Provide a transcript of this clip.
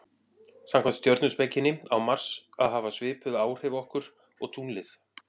samkvæmt stjörnuspekinni á mars að hafa svipuð áhrif okkur og tunglið